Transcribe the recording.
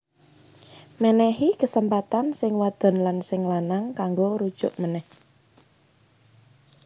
Mènèhi kesempatan sing wadon lan sing lanang kanggo rujuk ménèh